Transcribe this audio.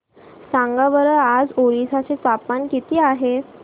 सांगा बरं आज ओरिसा चे तापमान किती आहे